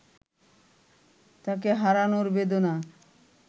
তাকে হারানোর বেদনা